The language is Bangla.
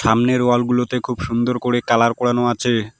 সামনের ওয়াল -গুলোতে খুব সুন্দর করে কালার করানো আচে।